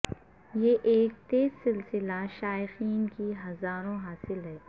یہ ایک تیز سلسلہ شائقین کی ہزاروں حاصل ہے